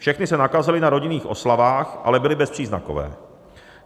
Všechny se nakazily na rodinných oslavách, ale byly bezpříznakové.